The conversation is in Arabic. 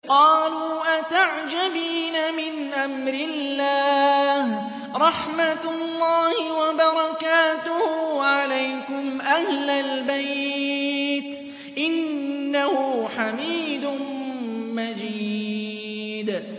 قَالُوا أَتَعْجَبِينَ مِنْ أَمْرِ اللَّهِ ۖ رَحْمَتُ اللَّهِ وَبَرَكَاتُهُ عَلَيْكُمْ أَهْلَ الْبَيْتِ ۚ إِنَّهُ حَمِيدٌ مَّجِيدٌ